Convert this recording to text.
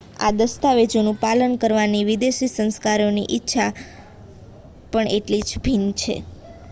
આ દસ્તાવેજોનું પાલન કરવાની વિદેશી સરકારોની ઇચ્છા પણ એટલી જ ભિન્ન છે